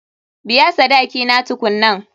Biya sadaki na tukunnan.